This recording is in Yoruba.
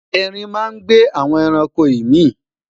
ẹrin má n gbe awọn ẹranko imi